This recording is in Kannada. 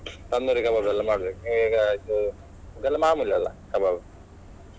Tandoori Kabab ಎಲ್ಲಾ ಮಾಡ್ಬೇಕು ಇದೆಲ್ಲಾ ಮಾಮೂಲಿಯಲ್ಲಾ kebab .